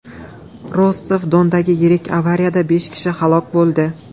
Rostov-Dondagi yirik avariyada besh kishi halok bo‘ldi.